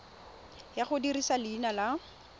ya go dirisa leina la